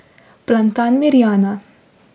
Plantan, Mirjana.